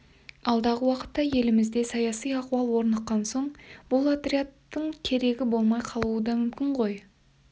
алдағы уақытта елімізде саяси ахуал орныққан соң бұл отрядтың керегі болмай қалуы да мүмкін ғой